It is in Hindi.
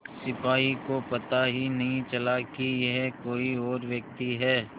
सिपाही को पता ही नहीं चला कि यह कोई और व्यक्ति है